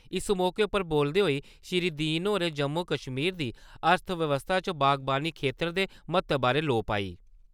इस मौके उप्पर बोलदे होई श्री दीन होरें जम्मू कश्मीर दी अर्थव्यवस्था च बागवानी खेत्तर दे म्हत्तव बारै लोऽ पाई।